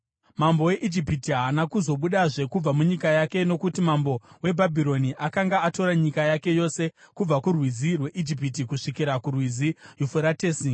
Mambo weIjipiti haana kuzobudazve kubva munyika yake nokuti mambo weBhabhironi akanga atora nyika yake yose, kubva kuRwizi rweIjipiti kusvikira kuRwizi Yufuratesi.